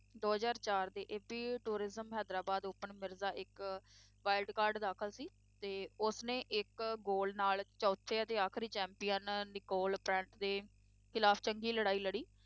ਦੋ ਹਜ਼ਾਰ ਚਾਰ ਦੇ AP tourism Hyderabad open Mirza ਇੱਕ wildcard ਦਾਖਲ ਸੀ ਤੇ ਉਸ ਨੇ ਇੱਕ ਗੋਲ ਨਾਲ ਚੌਥੇ ਅਤੇ ਆਖਰੀ champion ਨਿਕੋਲ ਪ੍ਰੈਟ ਦੇ ਖਿਲਾਫ ਚੰਗੀ ਲੜਾਈ ਲੜੀ